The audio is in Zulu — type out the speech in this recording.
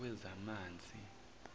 wezamanzi